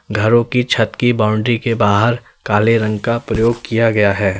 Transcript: घरों की छत की बाउंड्री के बाहर काले रंग का प्रयोग किया गया है।